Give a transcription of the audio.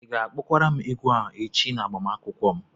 Ị ga-akpọkwara m egwu a echi na agbamakwụkwọ m?